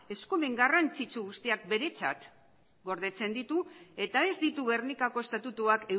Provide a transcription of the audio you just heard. eskumen garrantzitsu guztiak beretzat gordetzen ditu eta ez ditu gernikako estatutuak